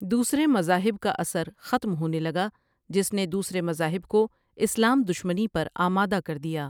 دوسرے مزاهب کا اثرختم ھونے لگا جس نے دوسرے مزاهب کو اسلام دشمنی پر آماده کر دیا ۔